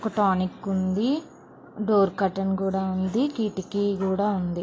ఒక టానిక్ ఉంది. Door curtain కూడా ఉంది. కిటికీ కూడా ఉంది.